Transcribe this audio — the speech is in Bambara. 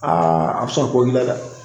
a bi sɔn ko k'i la dɛ